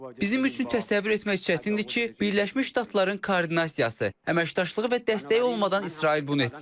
Bizim üçün təsəvvür etmək çətindir ki, Birləşmiş Ştatların koordinasiyası, əməkdaşlığı və dəstəyi olmadan İsrail bunu etsin.